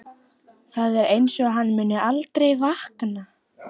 Það er einsog hann muni aldrei vakna.